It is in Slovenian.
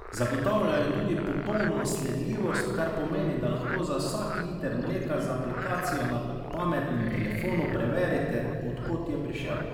Zagotavljajo tudi popolno sledljivost, kar pomeni, da lahko za vsak liter mleka z aplikacijo na pametnem telefonu preverite, od kod je prišel.